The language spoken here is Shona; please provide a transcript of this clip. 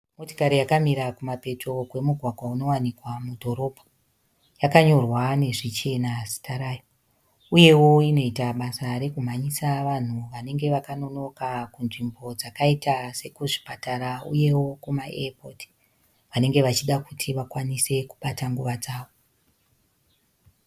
Motokari yakamira kumapeto kwemugwagwa unowanikwa mudhorobha. Yakanyorwa nezvichena zita rayo uyewo inoita basa rekumhanyisa vanhu vanenge vakanonoka kunzvimbo dzakaita sekuzvipatatara uyewo kumaeyapoti vanenge vachida kuti vakwanise kubata nguva dzavo.